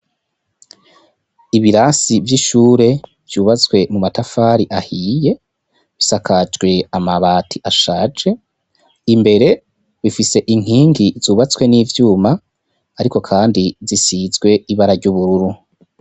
Ibirasi vy'ishure ryubatswe mu matafari ahiye, bisakajwe amabati ashaje , imbere bifise inkingi zubatswe n'ivyuma ariko kandi zisizwe ibara ry'ubururu.